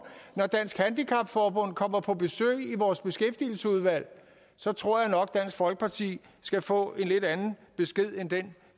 når dansk handicap forbund kommer på besøg i vores beskæftigelsesudvalg så tror jeg nok dansk folkeparti skal få en lidt anden besked end den